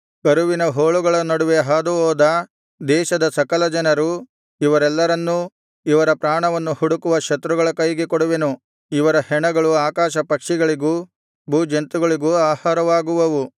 ಕರುವಿನ ಹೋಳುಗಳ ನಡುವೆ ಹಾದುಹೋದ ದೇಶದ ಸಕಲ ಜನರು ಇವರೆಲ್ಲರನ್ನೂ ಇವರ ಪ್ರಾಣವನ್ನು ಹುಡುಕುವ ಶತ್ರುಗಳ ಕೈಗೆ ಕೊಡುವೆನು ಇವರ ಹೆಣಗಳು ಆಕಾಶ ಪಕ್ಷಿಗಳಿಗೂ ಭೂಜಂತುಗಳಿಗೂ ಆಹಾರವಾಗುವವು